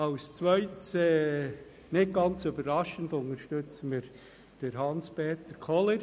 Als Zweites und nicht ganz überraschend, unterstützen wir Hans-Peter Kohler.